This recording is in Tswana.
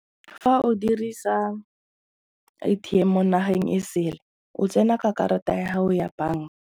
Fa o dirisa A_T_M mo nageng e sele o tsena ka karata ya gago ya bank.